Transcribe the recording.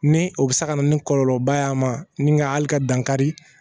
Ni o bɛ se ka na ni kɔlɔlɔba y'a ma ni nka hali ka dan kari